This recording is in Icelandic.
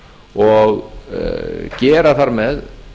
og gera þar með